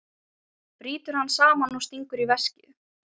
Brýtur hann saman og stingur í veskið.